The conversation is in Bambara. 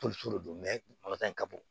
Polisi de don in ka bon